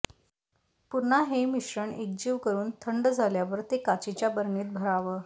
पुन्हा हे मिश्रण एकजीव करून थंड झाल्यावर ते काचेच्या बरणीत भरावं